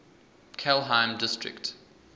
kelheim district